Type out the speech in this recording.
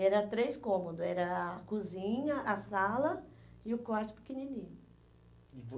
Era três cômodo, era a cozinha, a sala e o quarto pequenininho. E